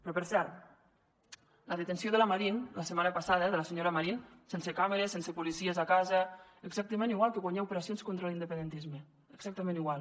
però per cert la detenció de la marín la setmana passada de la senyora marín sense càmeres sense policies a casa exactament igual que quan hi ha operacions contra l’independentisme exactament igual